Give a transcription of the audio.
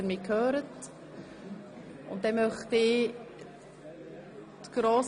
Zuerst zur Frage der Abschreibung.